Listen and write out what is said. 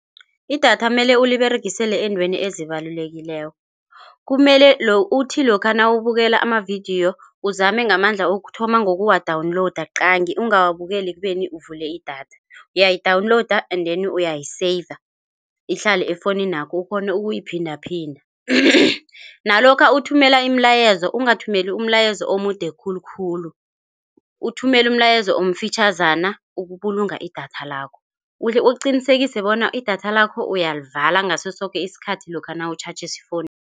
Idatha mele uliberegisele eentweni ezibalulekileko. Kumele uthi lokha nawubukela amavidiyo uzame ngamandla ukuthoma ngokuwadawunilowuda qangi ungawabukela ekubeni uvule idatha. Uyayidawunilowuda and then uyayiseyiva ihlale efowuninakho ukghone ukuyiphinda phinda. Nalokha nawuthumela imilayezo angathumeli umlayezo omude khulukhulu. Uthumela umlayezo omfitjhazana ukubulunga idatha lakho. Uqinisekise bona idatha lakho uyalivala ngaso soke isikhathi lokha nawutjhatjhisa ifowunu.